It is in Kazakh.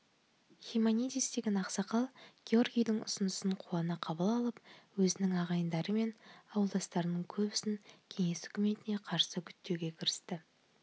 химанидис деген ақсақал георгийдің ұсынысын қуана қабыл алып өзінің ағайындары мен ауылдастарының көбісін кеңес үкіметіне қарсы үгіттеуге кірісті